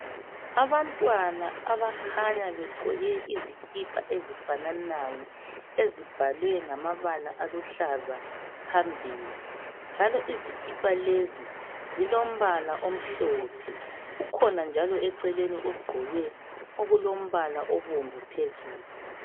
Abantwana abakhanya begqoke izikipa ezifananayo ezibhalwe ngamabala aluhlaza phambili njalo izikipa lezi zilombala omhlophe kukhona njalo eceleni ogqoke okulombala obomvu phezulu